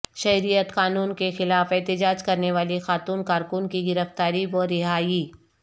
شہریت قانون کیخلاف احتجاج کرنے والی خاتون کارکن کی گرفتاری و رہائی